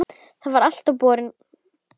Það var alltaf borin von